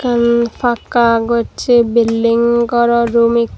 ekkan pakka gossey building goro room